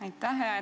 Aitäh!